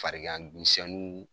Fariganmisɛnninw